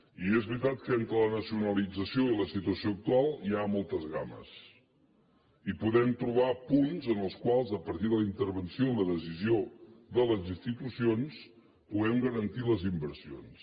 i és veritat que entre la nacionalització i la situació actual hi ha moltes gammes i podem trobar punts en els quals a partir de la intervenció i la decisió de les institucions puguem garantir les inversions